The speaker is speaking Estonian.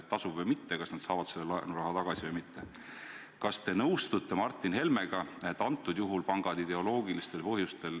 Ja vähemalt see, mida riigihalduse minister meile täna pakub, ongi see, et kõikides tabelites on esitatud numbrid 79 omavalitsuse kohta ehk numbrid on omavalitsusepõhised.